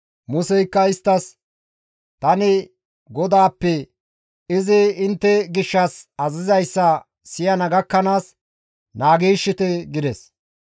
Museykka isttas, «Tani GODAAPPE izi intte gishshas azazizayssa siyana gakkanaas naagiishshite» gides.